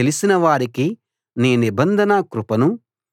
నీ దగ్గర జీవపు ఊట ఉంది నీ వెలుగులోనే మేము వెలుగును చూస్తున్నాం